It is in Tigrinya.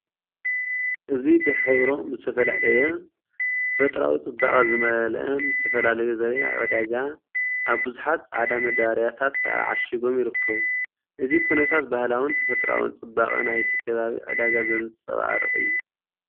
እዚ ብሕብሮም ዝተፈላለየን ተፈጥሮኣዊ ጽባቐ ዝመልአን ዝተፈላለዩ ዘርኢ ኣብ ዕዳጋ ኣብ ብዙሓት ጻዕዳ መዳበርያታት ተዓሺጎም ይርከቡ። እዚ ኩነታት ባህላውን ተፈጥሮኣውን ጽባቐ ናይቲ ከባቢ ዕዳጋ ዘንጸባርቕ እዩ።